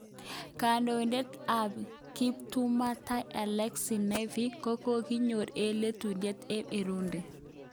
Kondoidet tab kiptubatai Alexei Navalny kokokinyor ak lelutyet eng Urudi.